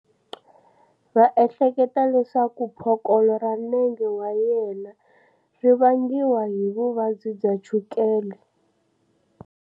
Va ehleketa leswaku phokolo ra nenge wa yena ri vangiwa hi vuvabyi bya chukela.